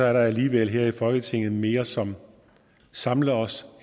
er der alligevel her i folketinget mere som samler os